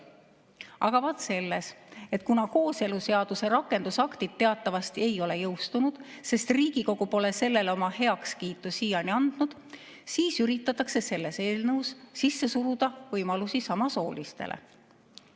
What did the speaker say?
Aga vaat selles, et kuna kooseluseaduse rakendusaktid teatavasti ei ole jõustunud, sest Riigikogu pole sellele oma heakskiitu siiani andnud, siis üritatakse selles eelnõus sisse suruda ka võimalusi samasoolistele.